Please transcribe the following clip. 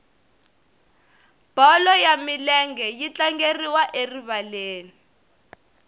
bolo ya milenge yi tlangeriwa erivaleni